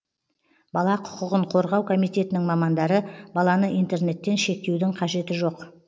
бала құқығын қорғау комитетінің мамандары баланы интернеттен шектеудің қажеті жоқ